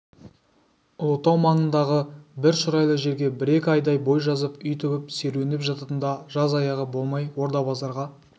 ұлытау маңындағы бір шұрайлы жерге бір-екі айдай бой жазып үй тігіп серуендеп жататын да жаз аяғы болмай орда-базарға